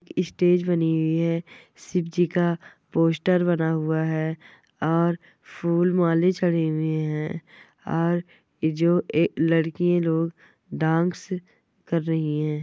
Stage बनी हुई है शिवजी का पोस्टर बना हुआ है और फूल माले चढ़े हुए हैं और यह जो लड़की लोग डांस कर रही है।